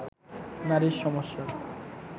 নারীর সমস্যার